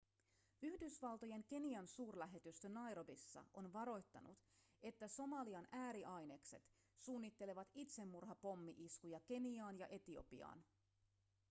yhdysvaltojen kenian-suurlähetystö nairobissa on varoittanut että somalian ääriainekset suunnittelevat itsemurhapommi-iskuja keniaan ja etiopiaan